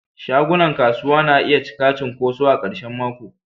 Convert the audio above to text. shagunan kasuwa na iya cika cunkoso a karshen mako.